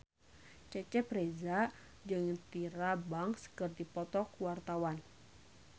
Cecep Reza jeung Tyra Banks keur dipoto ku wartawan